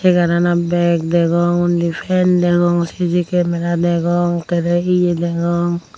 chegaranot beg degong undi fan degong cc kamera degong kererey he he degong.